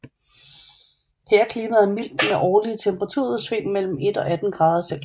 Her er klimaet mildt med årlige temperaturudsving mellem 1 og 18 grader C